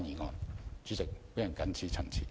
代理主席，我謹此陳辭。